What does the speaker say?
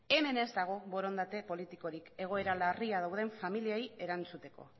hemen ez dago borondate politikorik egoera larrian dauden familiei erantzuteko